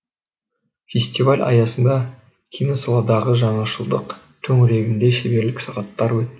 фестиваль аясында киносаладағы жаңашылдық төңірегінде шеберлік сағаттары өтті